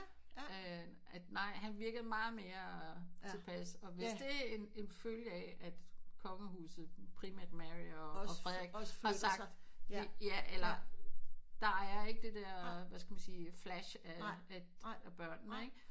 Ja ja at nej han virker meget mere tilpas og hvis det en en følge af at kongehuset primært Mary og Frederik har sagt ja eller der er ikke det der hvad skal man sige flash af af børnene ikke